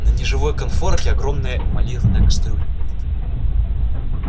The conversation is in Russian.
на неживой конфорке огромная эмалированная кастрюля